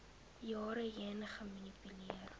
jare heen gemanipuleer